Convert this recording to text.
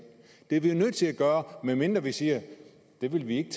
det er vi jo nødt til at gøre medmindre vi siger at vi ikke